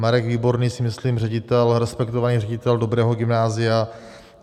Marek Výborný, myslím si, ředitel, respektovaný ředitel dobrého gymnázia.